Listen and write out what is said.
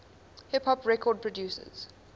hip hop record producers